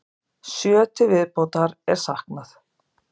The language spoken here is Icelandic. Sjö til viðbótar er saknað.